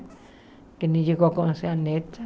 Que nem chegou a conhecer a neta.